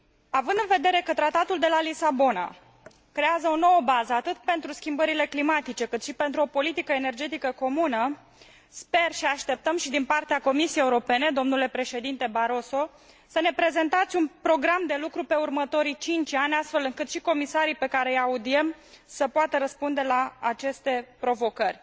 Având în vedere că Tratatul de la Lisabona creează o nouă bază atât pentru schimbările climatice, cât și pentru o politică energetică comună, sper și așteptăm și din partea Comisiei Europene, domnule Președinte Barroso să ne prezentați un program de lucru pe următorii 5 ani, astfel încât și comisarii pe care îi audiem să poată răspunde la aceste provocări.